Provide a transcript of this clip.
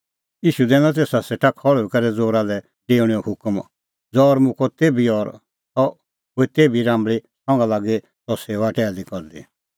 ईशू दैनअ तेसा सेटा खल़्हुई करै ज़ौरा लै डेऊणेओ हुकम ज़ौर मुक्कअ तेभी और सह हुई तेभी राम्बल़ी संघा लागी सह सेऊआ टैहली करदी